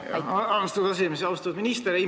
Aitäh, austatud esimees!